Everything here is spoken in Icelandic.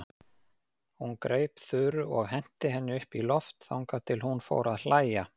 Hún greip Þuru og henti henni upp í loft þangað til hún fór að hlæja.